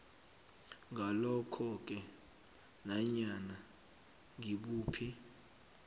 ngalokhoke nanyana ngibuphi